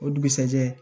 O dugusajɛ